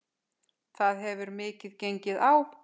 Það hefur mikið gengið á.